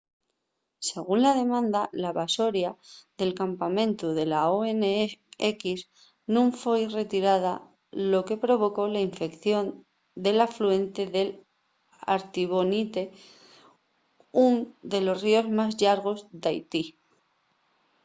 según la demanda la basoria del campamentu de la onx nun foi retirada lo que provocó la infección del afluente del artibonite ún de los ríos más llargos d'haití